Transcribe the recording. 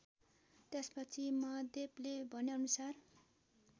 त्यसपछि महादेवले भनेअनुसार